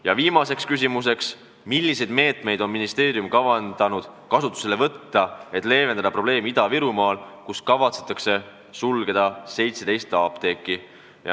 Ja viimane küsimus: milliseid meetmeid on ministeerium kavandanud kasutusele võtta, et leevendada probleemi Ida-Virumaal, kus kavatsetakse sulgeda 17 apteeki?